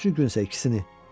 Üçüncü gün isə ikisini.